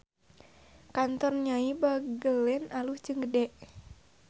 Kantor Nyai Bagelen alus jeung gede